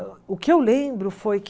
O o que eu lembro foi que...